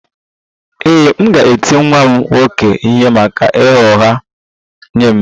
Ee, m ga-eti nwa m nwoke ihe maka ịgha ụgha nye m